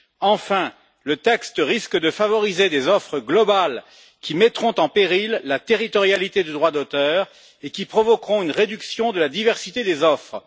Enfin, le texte risque de favoriser des offres globales qui mettront en péril la territorialité du droit d'auteur et qui provoqueront une réduction de la diversité des offres.